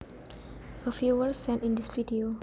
A viewer sent in this video